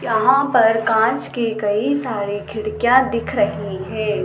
यहां पर कांच की कई सारे खिड़कियां दिख रही है।